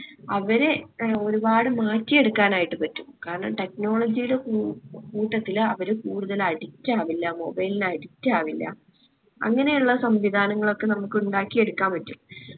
അവരെ ഒരുപാട് മാറ്റിയെടുക്കാനായിട്ട് പറ്റും. കാരണം technology യുടെ കൂ കൂട്ടത്തില് അവര് കൂടുതല് addict ആവില്ല mobile ന് addict ആവില്ല അങ്ങനെ ഇള്ള സംവിധാനങ്ങളൊക്കെ നമ്മുക്ക് ഉണ്ടാക്കിയെടുക്കാൻ പറ്റും